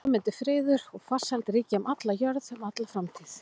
Og svo mundi friður og farsæld ríkja um alla jörð um alla framtíð.